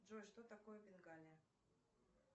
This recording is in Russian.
джой что такое бенгалия